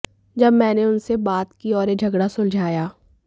जब मैंने उनसे बात की और ये झगड़ा सुलझाया